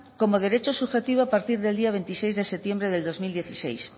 como derecho subjetivo a partir del día veintiséis de septiembre del dos mil dieciséis